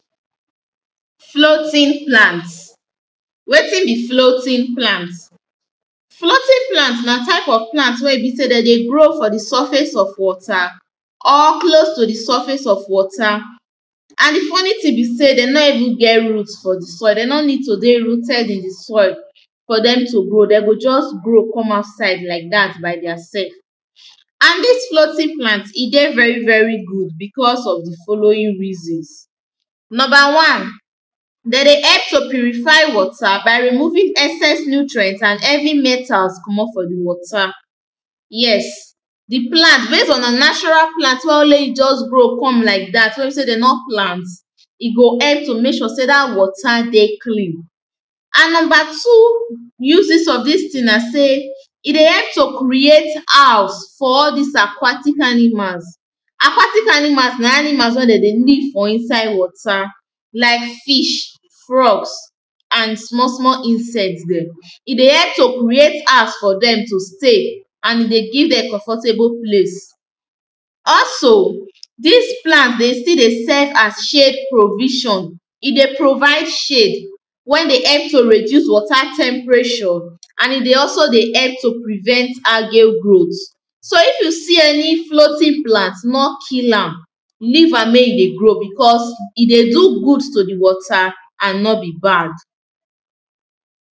Floating plants, wetin be floating plants? floating plant na type of plant wey be sey dem dey grow for surface of water or close to di surface of water. and di funny thing be sey, dem nor even get root for di soil de nor need to dey rooted in di soil. for dem to grow, de go just grow come outside like dat by their self. and dis floating plant e dey very very good, because of di following reasons; number one, dem dey help to purify water by removing excess nutrients and heavy metals comot for di water. yes, di plant base on na natural plant wey only e just grow come like dat wey be sey dem nor plant, e go help to mek sure sey dat water dey clean. and number two uses of dis thing na sey, e dey help to create house for all dis aquatic animals. acquatic animals na animals wen dem dey live for inside water. like fish, frogs and small small insects dem. e dey help create house for dem to stay and e dey give dem comfortable place, also dis plant dey still dey serve as shade provision e dey provide shade, when dey we dey help to reduce water temperature and e dey also dey help to prevent algae growth. so if you see any floating plant, nor kill am leave am make e dey grow because e dey do good to di water and nor be bad.